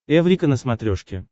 эврика на смотрешке